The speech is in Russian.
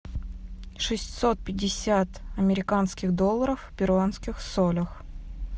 шестьсот пятьдесят американских долларов в перуанских солях